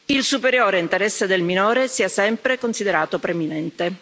il superiore interesse del minore sia sempre considerato preminente.